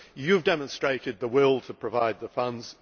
You have demonstrated the will to provide the funds.